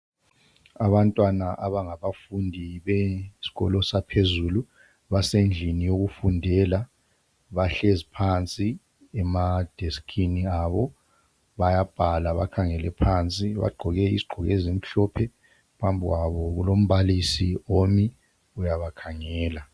Abantwana abangabafundi besikolo saphezulu basendlini yokufundela bahlezi phansi ematafuleni abo bayabhala bakhangele phansi bagqoke izigqoko ezimhlophe phambi kwabo kulombalisi omi uyaba khangela.